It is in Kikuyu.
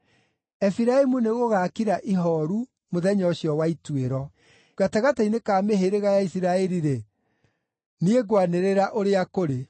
Efiraimu nĩgũgakira ihooru mũthenya ũcio wa ituĩro. Gatagatĩ-inĩ ka mĩhĩrĩga ya Isiraeli-rĩ, niĩ ngwanĩrĩra ũrĩa kũrĩ.